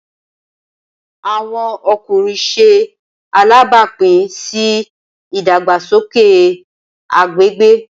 Awọn ọkunrin ṣe alabapin si idagbasoke agbegbe.